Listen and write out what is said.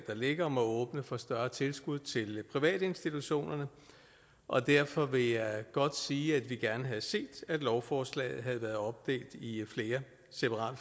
der ligger om at åbne for større tilskud til privatinstitutionerne og derfor vil jeg godt sige at vi gerne havde set at lovforslaget havde været opdelt i flere separate